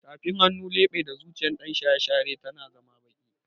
Tafin hannu, leɓe da zuciyar ɗan shaye-shaye tana zama baƙi